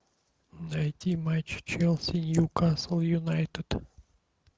найти матч челси ньюкасл юнайтед